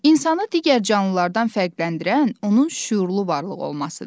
İnsanı digər canlılardan fərqləndirən onun şüurlu varlıq olmasıdır.